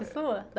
sua da